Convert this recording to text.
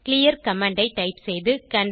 clear command ஐ type செய்து